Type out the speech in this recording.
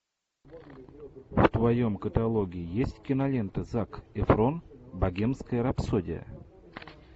в твоем каталоге есть кинолента зак эфрон богемская рапсодия